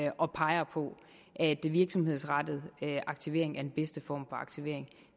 og peger på at virksomhedsrettet aktivering er den bedste form aktivering